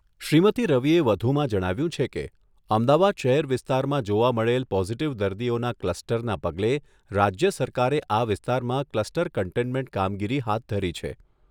શ્રીમતી રવિએ વધુમાં જણાવ્યુંં છે કે, અમદાવાદ શહેર વિસ્તારમાં જોવા મળેલ પોઝિટિવ દર્દીઓના કલ્સટરના પગલે રાજ્ય સરકારે આ વિસ્તારમાં કલ્સટર કન્ટેન્મેન્ટ કામગીરી હાથ ધરી છે.